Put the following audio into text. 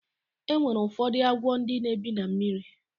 E nwere ụfọdụ agwọ ndị na-ebi na mmiri.